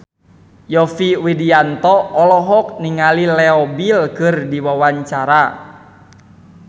Yovie Widianto olohok ningali Leo Bill keur diwawancara